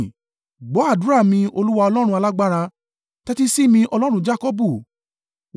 Gbọ́ àdúrà mi, Olúwa Ọlọ́run Alágbára; tẹ́tí sí mi, Ọlọ́run Jakọbu.